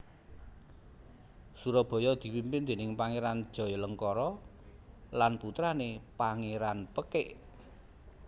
Surabaya dipimpin déning Pangéran Jayalengkara lan putrané Pangéran Pekik